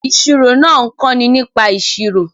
Ìṣirò náà ń kọ́ni nípa ìṣirò